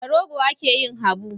Da rogo ake yin habu.